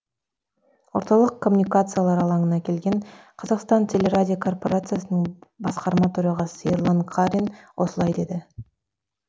орталық коммуникациялар алаңына келген қазақстан телерадиокорпорациясының басқарма төрағасы ерлан қарин осылай деді